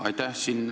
Aitäh!